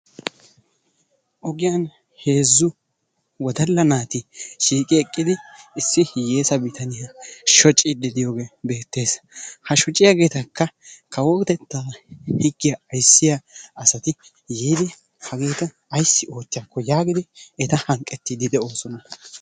Ogiyan heezzu wodalla naati shiiqi eqqidi issi hiyyeesa bitaniya shociiddi de"iyogee beettes. Ha shociyageetakka kawotettaa higgiya ayssiya asati yiidi hageeta ayssi oottiyakko yaagidi eta hanqqettiiddi de"oosona.